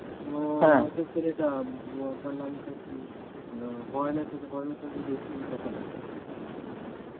ও মাসির ছেলেটা বড়দার নামটা কি, হরেনের সাথে হরেনের সাথে বেশি কথা বলে,